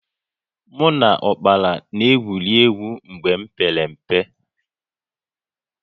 Mụ na ụkpala n'egwuri egwu mgbe m pere mpe